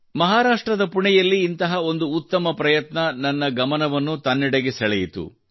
ಮಹಾರಾಷ್ಟ್ರದ ಪುಣೆಯಲ್ಲಿ ಇಂತಹ ಒಂದು ಉತ್ತಮ ಪ್ರಯತ್ನವು ನನ್ನ ಗಮನವನ್ನು ತನ್ನೆಡೆಗೆ ಸೆಳೆಯಿತು